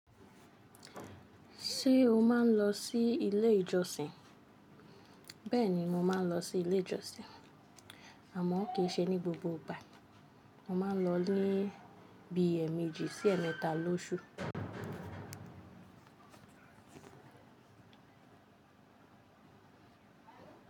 Ṣé o máa ń lọ sí ilé ìjọsìn? Bẹ́ẹ̀ni mo máa ń lọ sí ilé ìjọsìn. Àmọ́ kì í ṣe ní gbogbo ìgbà. Mo máa ń lọ ní bí ẹ̀ẹ̀mẹjì sí ẹ̀ẹ̀mẹta lósù.